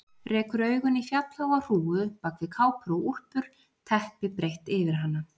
Rekur augun í fjallháa hrúgu bak við kápur og úlpur, teppi breitt yfir hana.